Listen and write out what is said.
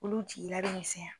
Olu jigila bɛ misɛnya.